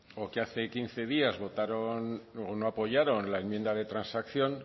o que hace quince días votaron o no apoyaron la enmienda de transacción